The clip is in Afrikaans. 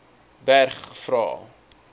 berg vra